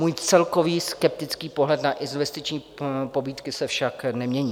Můj celkový skeptický pohled na investiční pobídky se však nemění.